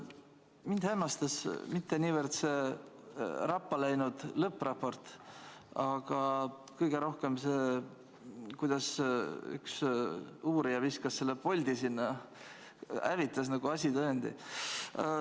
Mind hämmastab mitte niivõrd see rappa läinud lõppraport, vaid kõige rohkem see, et üks uurija viskas selle poldi merre, hävitas asitõendi.